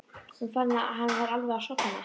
Hún fann að hann var alveg að sofna.